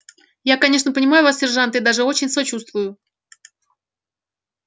я конечно понимаю вас сержант и даже очень сочувствую